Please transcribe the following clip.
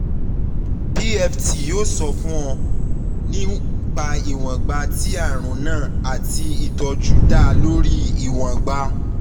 pft yoo sọ fun ọ nipa iwongba ti arun naa ati itọju da lori iwongba